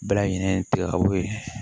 Bɛɛ lajɛlen tigɛ ka bɔ ye